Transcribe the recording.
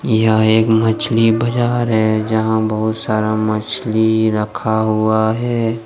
यह एक मछली बाज़ार है जहाँ बहुत सारा मछली रखा हुआ है।